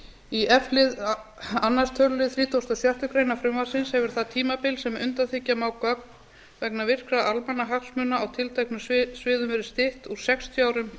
í f lið annar töluliður þrítugasta og sjöttu greinar frumvarpsins hefur það tímabil sem undanþiggja má gögn vegna virkra almannahagsmuna á tilteknum sviðum verið stytt úr sextíu árum